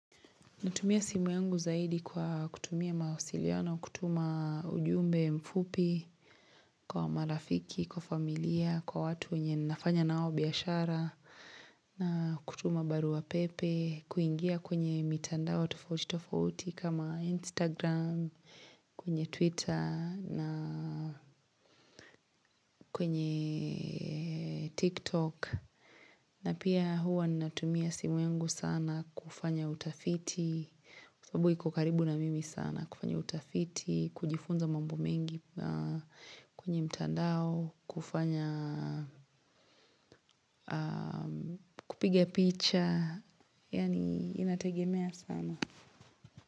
Natumia simu yangu zaidi kwa kutumia mawasiliona, kutuma ujumbe mfupi, kwa marafiki, kwa familia, kwa watu wenye ninafanya nao biashara, na kutuma baruwa pepe, kuingia kwenye mitandao tofautii tofautii kama Instagram, kwenye Twitter, na kwenye TikTok. Na pia huwa ni natumia simu yangu sana kufanya utafiti, kwa sababu iko karibu na mimi sana kufanya utafiti, kujifunza mambo mengi, kwenye mtandao, kufanya kupiga picha, yani inategemea sana.